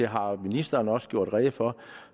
har ministeren også gjort rede for